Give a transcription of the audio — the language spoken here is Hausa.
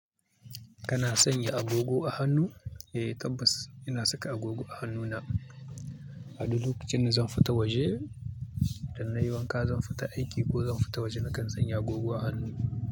Kana sanya agogo a hannu? Eh tabbas ina saka agogo a hannuna. A duk lokacin da zan fita waje idan na yi wanka, zan fita aiki ko zan fita waje, nakan sanya agogo a hannu.